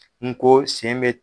N ko sen bɛ